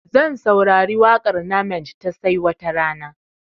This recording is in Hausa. Zan saurari waƙar namenj ta 'sai watarana'